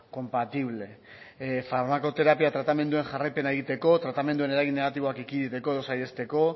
compatible farmakoterapia tratamenduen jarraipena egiteko tratamenduen eragin negatiboak ekiditeko edo saihesteko